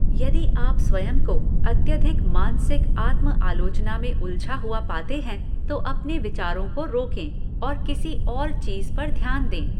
यदि आप स्वयं को अत्यधिक मानसिक आत्म आलोचना में उलझा हुआ पाते हैं तो अपने विचारों को रोकें और किसी और चीज पर ध्यान दें।